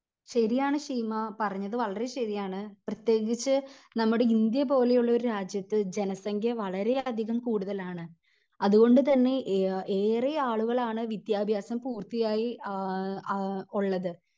ശെരിയാണ് ശീമ പറഞ്ഞത് വളരേ ശെരിയാണ് പ്രത്യേകിച്ച് നമ്മുടെ ഇന്ത്യ പോലെ ഉള്ള ഒരു രാജ്യത്ത് ജനസംഖ്യ വളരേ അധികം കൂടുതലാണ് അതുകൊണ്ട് തന്നെ എ ഏറെ ആളുകളാണ് വിദ്യാഭ്യാസം പൂർത്തിയായി ആഹ് ആഹ് ഉള്ളത്